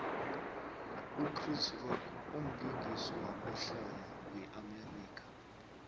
uchris rock umlingisi wamahlaya we amerika